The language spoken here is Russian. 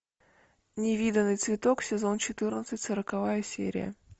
невиданный цветок сезон четырнадцать сороковая серия